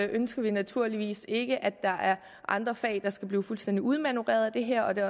ønsker vi naturligvis ikke at der er andre fag der skal blive fuldstændig udmanøvreret af det her og det